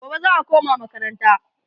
gobe za'a koma makaranta